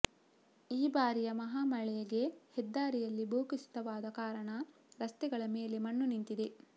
ಈ ಭಾರಿಯ ಮಹಾಮಳೆಗೆ ಹೆದ್ದಾರಿಯಲ್ಲಿ ಭೂಕುಸಿತವಾದ ಕಾರಣ ರಸ್ತೆಗಳ ಮೇಲೆ ಮಣ್ಣು ನಿಂತಿದೆ